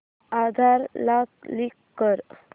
आधार ला लिंक कर